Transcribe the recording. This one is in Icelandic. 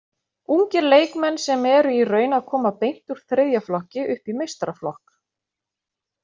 Ungir leikmenn sem eru í raun að koma beint úr þriðja flokki upp í meistaraflokk.